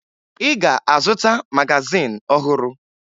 Ị ga-azụta magazin ọhụrụ